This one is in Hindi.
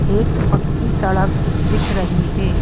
एक पक्की सड़क दिख रही है।